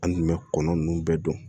An tun bɛ kɔnɔ ninnu bɛɛ don